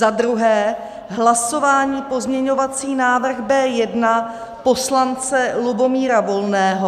2. hlasování - pozměňovací návrh B1 poslance Lubomíra Volného;